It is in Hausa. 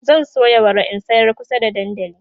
zan soya wara in sayar kusa da dandali